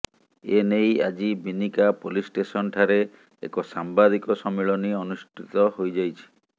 ଏନେଇ ଆଜି Binika police station ଠାରେ ଏକ ସାମ୍ବାଦିକ ସମ୍ମିଳନୀ ଅନୁଷ୍ଠିତ ହୋଇଯାଇଛି